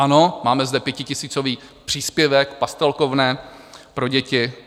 Ano, máme zde pětitisícový příspěvek, pastelkovné pro děti.